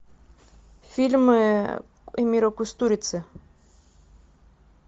фильмы эмира кустурицы